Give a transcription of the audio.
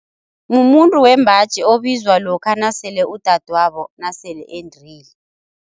Mumuntu wembaji obizwa lokha nasele udadwabo nasele endile.